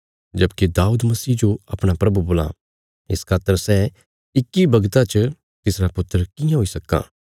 जबकि दाऊद मसीह जो अपणा प्रभु बोलां इस खातर सै इक्की वगता च तिसरा पुत्र कियां हुई सक्कां